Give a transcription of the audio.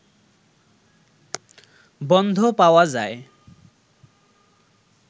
বন্ধ পাওয়া যায়